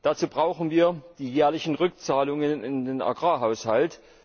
Dazu brauchen wir die jährlichen Rückzahlungen in den Agrarhaushalt.